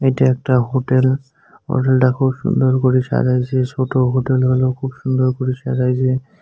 এটি একটা হোটেল হোটেলটা খুব সুন্দর করে সাজাইছে ছোট হোটেল হলেও খুব সুন্দর করে সাজাইছে।